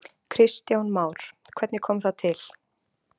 Kristján Már: Hvernig kom það til?